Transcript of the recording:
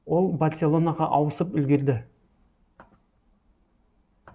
ол барселонаға ауысып үлгерді